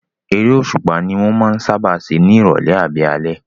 Eré òṣùpá ní wọ́n máa ń sáábà ṣe ní ìrọ̀lẹ́ àbí alẹ́